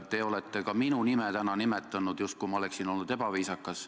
Te olete ka minu nime täna nimetanud, justkui ma oleksin olnud ebaviisakas.